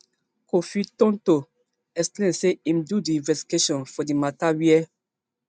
kofi tonto explain say im do investigation for di mata wia